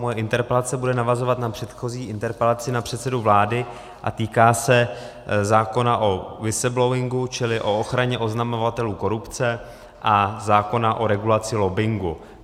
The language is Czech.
Moje interpelace bude navazovat na předchozí interpelaci na předsedu vlády a týká se zákona o whistleblowingu, čili o ochraně oznamovatelů korupce, a zákona o regulaci lobbingu.